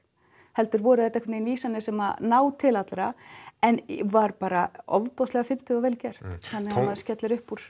heldur voru þetta veginn vísanir sem ná til allra en var bara ofboðslega fyndið og vel gert þannig að maður skellir upp úr